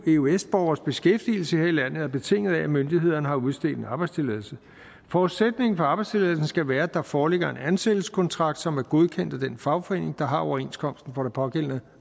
eu eøs borgeres beskæftigelse her i landet er betinget af at myndighederne har udstedt en arbejdstilladelse forudsætningen for arbejdstilladelsen skal være at der foreligger en ansættelseskontrakt som er godkendt af den fagforening der har overenskomsten for det pågældende